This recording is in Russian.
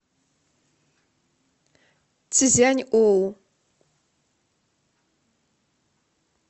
цзяньоу